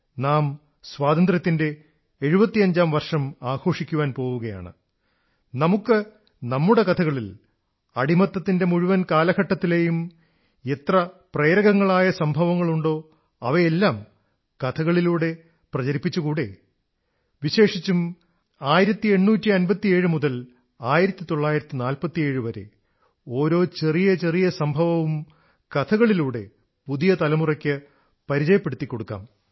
നാം സ്വാതന്ത്ര്യത്തിന്റെ 75ാം വർഷം ആഘോഷിക്കാൻ പോവുകയാണ് നമുക്ക് നമ്മുടെ കഥകളിൽ അടിമത്തത്തിന്റെ മുഴുവൻ കാലഘട്ടത്തിലെയും എത്ര പ്രേരകങ്ങളായ സംഭവങ്ങളുണ്ടോ അവയെല്ലാം കഥകളിലൂടെ പ്രചരിപ്പിച്ചുകൂടേ വിശേഷിച്ചും 1857 മുതൽ 1947 വരെ ഓരോ ചെറിയ ചെറിയ സംഭവങ്ങളും കഥകളിലൂടെ പുതിയ തലമുറയ്ക്ക് പരിചയപ്പെടുത്തിക്കൊടുക്കാം